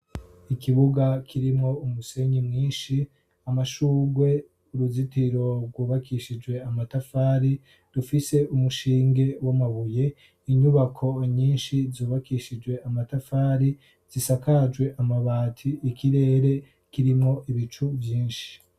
Ikibuga kirimwo umusenyi mwinshi, amashugwe, uruzitiro rwubakishijwe amatafari rufise umushinge w'amabuye, inyubako nyinshi zubakishijwe amatafari zisakajwe amabati, ikirere kirimwo ibicu vyinshi.